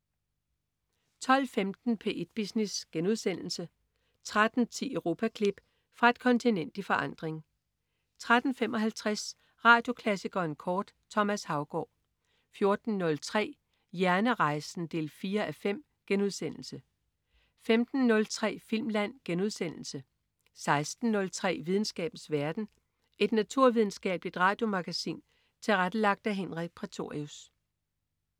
12.15 P1 Business* 13.10 Europaklip. Fra et kontinent i forandring 13.55 Radioklassikeren kort. Thomas Haugaard 14.03 Hjernerejsen 4:5* 15.03 Filmland* 16.03 Videnskabens verden. Et naturvidenskabeligt radiomagasin tilrettelagt af Henrik Prætorius